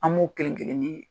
An b'o kelen kelen de ye.